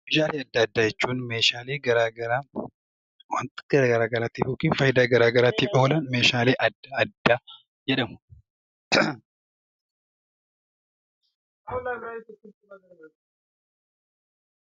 Meeshaalee addaa addaa jechuun Meeshaalee garaagaraa, waantota fayidaa garaagaraaf yookaan gargaaran Meeshaalee addaa addaa jedhamu.